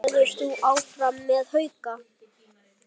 Verður þú áfram með Hauka?